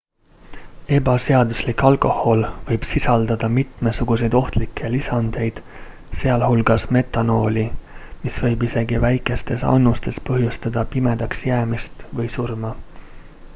ebaseaduslik alkohol võib sisaldada mitmesuguseid ohtlikke lisandeid sealhulgas metanooli mis võib isegi väikestes annustes põhjustada pimedaks jäämist või surma